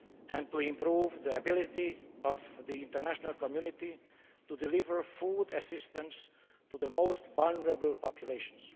and to improve the ability of the international community to deliver food assistance to the most vulnerable populations.